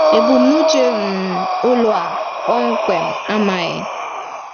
Ebumnuche um ụlọ a kpọmkwem amaghi.